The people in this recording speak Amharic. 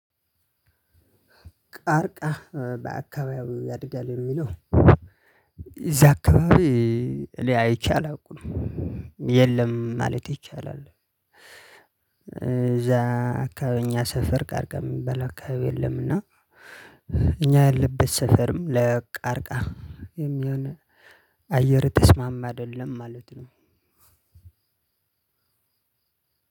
ቃርቃ በአካባቢው ያድጋል የሚለው እዚያ አካባቢ እኔ አይቺ አላውቅም የለም ማለት ይቻላል። እዚያ አካባቢ እኛ ሰፈር ቃርቃ የሚባል አካባቢ የለምና። እኛ ያለንበት ሰፈርም ለቃርቃ የሚሆን አየሩ የተስማማ አይደለም ማለት ነው።